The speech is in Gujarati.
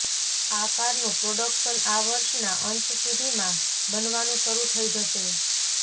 આ કારનું પ્રોડક્શન આ વર્ષના અંત સુધીમાં બનવાનું શરૂ થઈ જશે